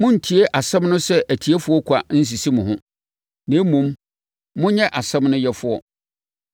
Monntie asɛm no sɛ atiefoɔ kwa nsisi mo ho, na mmom, monyɛ asɛm no yɛfoɔ.